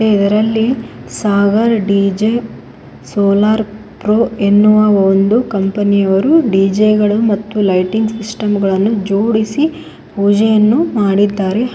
ಇದರಲ್ಲಿ Sagar D J solar pro ಎನ್ನುವ ಒಂದು ಕಂಪನಿ ಅವರು ಡಿ ಜೆ ಗಳು ಮತ್ತು ಲೈಟಿಂಗ್ ಸಿಸ್ಟಮ್ ಜೋಡಿಸಿ ಪೂಜೆಯನ್ನು ಮಾಡಿದ್ದಾರೆ.